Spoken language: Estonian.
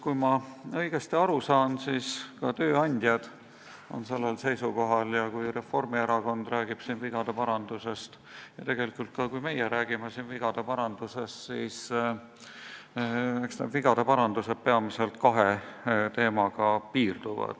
Kui ma õigesti aru sain, siis tööandjad on sellel seisukohal, ja kui Reformierakond räägib siin vigade parandusest ja tegelikult ka siis, kui meie räägime siin vigade parandusest, siis eks see piirdub peamiselt kahe teemaga.